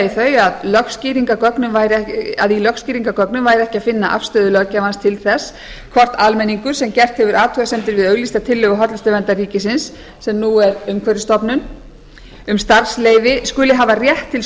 í lögskýringargögnum væri ekki að finna afstöðu löggjafans til þess hvort almenningur sem gert hefur athugasemdir við auglýsta tillögu hollustuverndar ríkisins sem nú er umhverfisstofnunar um starfsleyfi skuli hafa rétt til